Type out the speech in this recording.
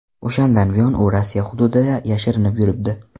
O‘shandan buyon u Rossiya hududida yashirinib yuribdi.